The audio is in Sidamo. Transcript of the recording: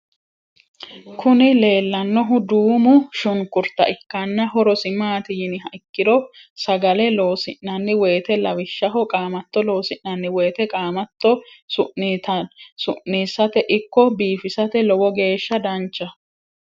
Kuni lellannohu duumo shunkurta ikkanna horosi maat yiniha ikkiro, sagale loosi'nanni woyite lawishshaho qaamatto loosi'nanni woyite qaamatto su'nisate ikko biifisate lowo geeshsa danchaho.